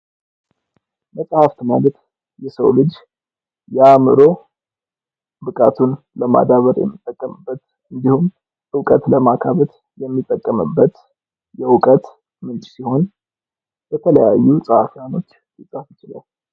መጽሃፍት ማለት የሰው ልጅ የአእምሮ ብቃቱን ለማዳበር የሚጠቀምበት ነው ።እውቀትን የሚጠቀምበት የእውቀት ምንጭ ሲሆን በተለያዩ ፀሐፊዎች ሊፀፍ ይችላል።